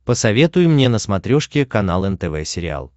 посоветуй мне на смотрешке канал нтв сериал